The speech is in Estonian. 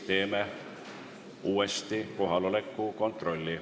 Teeme uuesti kohaloleku kontrolli.